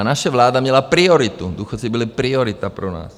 A naše vláda měla prioritu, důchodci byli priorita pro nás.